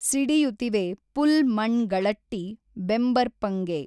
ಸಿಡಿಯುತಿವೆ ಪುಲ್ ಮಣ್ ಗಳಟ್ಟಿ ಬೆಂಬರ್ಪಂಗೆ